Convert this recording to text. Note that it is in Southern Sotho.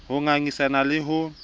c ho ngangisana le ho